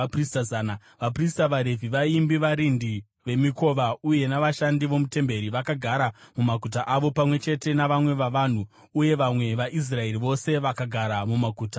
Vaprista, vaRevhi, vaimbi, varindi vemikova uye navashandi vomutemberi vakagara mumaguta avo, pamwe chete navamwe vavanhu, uye vamwe vaIsraeri vose vakagara mumaguta avowo.